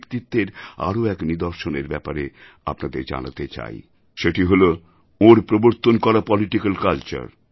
ব্যক্তিত্বের আরও এক নিদর্শনের ব্যাপারে আপনাদের জানাতে চাই সেটি হল ওঁর প্রবর্তন করা পলিটিক্যাল Culture